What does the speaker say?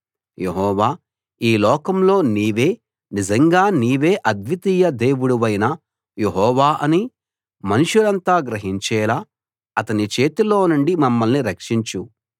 యెహోవా ఈ లోకంలో నీవే నిజంగా నీవే అద్వితీయ దేవుడవైన యెహోవా అని మనుషులంతా గ్రహించేలా అతని చేతిలో నుండి మమ్మల్ని రక్షించు